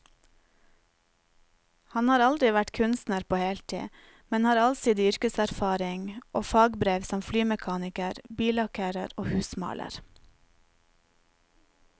Han har aldri vært kunstner på heltid, men har allsidig yrkeserfaring og fagbrev som flymekaniker, billakkerer og husmaler.